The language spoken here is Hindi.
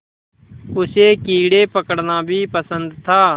उसे कीड़े पकड़ना भी पसंद था